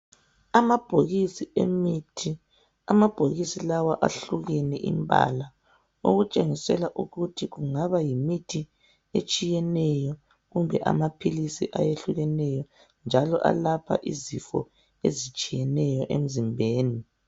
Amabhokisi emithi, amabhokisi lawa ahlukene imbala okutshengisela ukuthi kungaba yimithi etshiyeneyo kumbe amaphilisi ayehlukeneyo njalo alapha izifo ezitshiyeneyo emzimbeni.